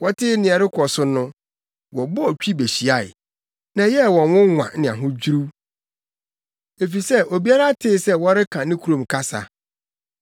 Wɔtee nea ɛrekɔ so no, wɔbɔɔ twi behyiae, na ɛyɛɛ wɔn nwonwa ne ahodwiriw, efisɛ obiara tee sɛ wɔreka ne kurom kasa.